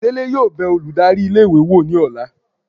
Dele yóò be olùdarí ilé ìwé wọ ní ọla